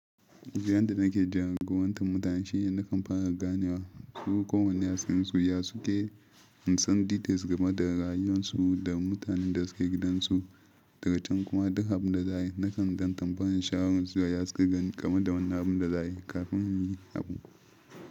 Jiya da nake jarragurantan mutane, shine nakan fara ganewa su ko wane yatsunsu ya suke insa details game da rayuwarsu da mutanen da suke gidansu daga cikin kuma duk abin da za su nakan gan tambayar sharun su ya suke gani game da wani abin da za su yi kafin yin abun.